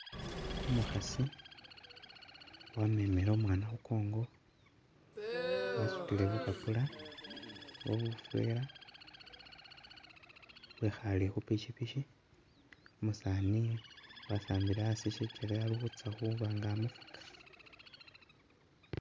Umukhaasi wamemile umwana khu kongo wasutile bupapula oba bufweela wekhaale khu pikipiki, umusaani wasambile asi sikyele ali khutsa khuba nga amufuka